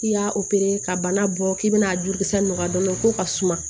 I y'a ka bana bɔ k'i bɛna a jurukisɛ nɔgɔ dɔɔnin ko ka suma